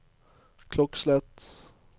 klokkeslett